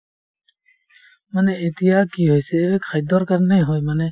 মানে এতিয়া কি হৈছে খাদ্যৰ কাৰণে হয় মানে